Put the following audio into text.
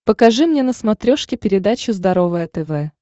покажи мне на смотрешке передачу здоровое тв